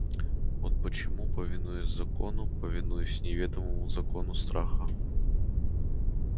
вот почему повинуясь закону повинуясь неведомому закону страха